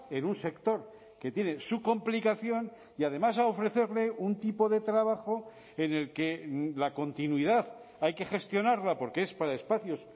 en un sector que tiene su complicación y además a ofrecerle un tipo de trabajo en el que la continuidad hay que gestionarla porque es para espacios